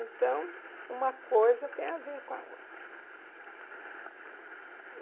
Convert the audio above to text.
Então, uma coisa tem a ver com a outra.